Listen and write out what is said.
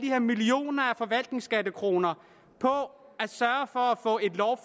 her millioner af forvaltningskroner på at sørge